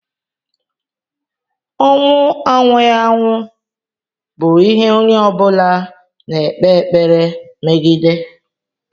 Ọnwụ anwụghị anwụ bụ ihe onye ọ bụla na-ekpe ekpere megide.